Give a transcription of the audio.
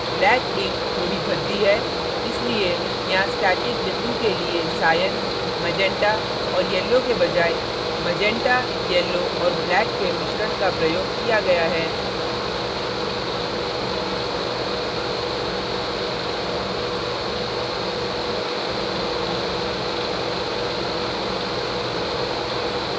black ink थोड़ी भद्दी है इसलिए यहाँ static बिंदु के लिए cyan magenta और yellow के बजाय magenta yellow और black के मिश्रण का प्रयोग किया गया है